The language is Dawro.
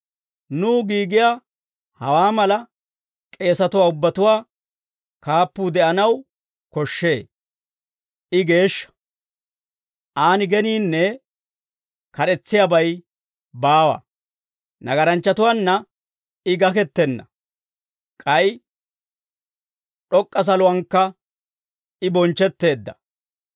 Nuw giigiyaa hawaa mala, k'eesatuwaa ubbatuwaa kaappuu de'anaw koshshee; I geeshsha; aan geniinne kad'etsiyaabay baawa; nagaranchchatuwaanna I gakettenna; k'ay d'ok'k'a saluwankka I bonchchetteedda.